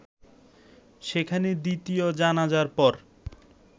সেখানে দ্বিতীয় জানাজার পর